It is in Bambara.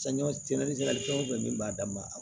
Sɛnɛkɛ fɛn o fɛn min b'a dan ma